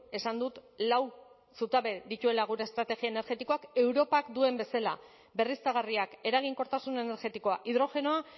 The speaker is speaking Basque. esan dut lau zutabe dituela gure estrategia energetikoak europak duen bezela berriztagarriak eraginkortasun energetikoa hidrogenoa